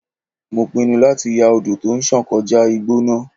Mo pinnu láti ya odò tó ń sàn kọjá igbó náà.